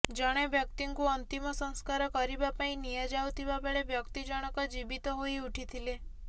ଜଣେ ବ୍ୟକ୍ତିଙ୍କୁ ଅନ୍ତିମ ସଂସ୍କାର କରିବା ପାଇଁ ନିଆଯାଉଥିବା ବେଳେ ବ୍ୟକ୍ତି ଜଣକ ଜୀବିତ ହୋଇ ଉଠିଥିଲେ